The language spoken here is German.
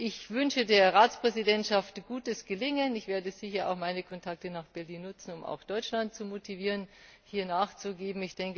Ich wünsche der Ratspräsidentschaft gutes Gelingen. Ich werde sicher auch meine Kontakte nach Berlin nutzen, um auch Deutschland zu motivieren, hier nachzugeben.